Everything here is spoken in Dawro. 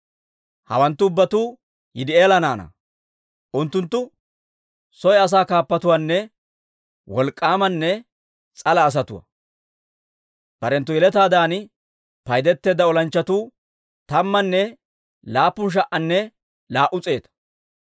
hawanttu ubbatuu Yidi'eela naanaa. Unttunttu soy asaa kaappatuwaanne wolk'k'aamanne s'ala asatuwaa. Barenttu yeletaadan paydeteedda olanchchatuu tammanne laappun sha"anne laa"u s'eeta.